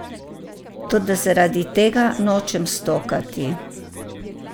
Toda zaradi tega nočem stokati.